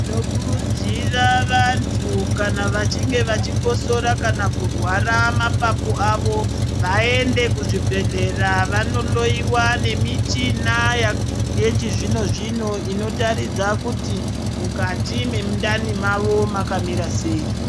Tinokurudzira vantu kana vachinge vachikosora kana kurwara mapapu awo vaende kuzvibhedhlera vanohloiwa nemichina ya yechizvino zvino inotaridza kuti mukati mwemundani mwavo mwakamira sei.